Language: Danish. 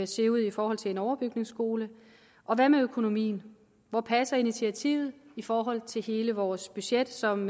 se ud i forhold til en overbygningsskole og hvad med økonomien hvor passer initiativet i forhold til hele vores budget som